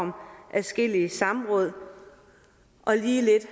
adskillige samråd og lige lidt